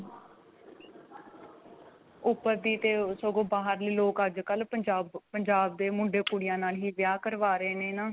ਉੱਪਰ ਦੀ ਤੇ ਸਗੋਂ ਬਾਹਰਲੇ ਲੋਕ ਅੱਜਕਲ ਪੰਜਾਬ ਪੰਜਾਬ ਦੇ ਮੁੰਡੇ ਕੁੜੀਆਂ ਨਾਲ ਹੀ ਵਿਆਹ ਕਰਵਾ ਰਹੇ ਨੇ ਨਾ.